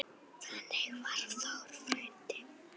Þannig var Þór frændi.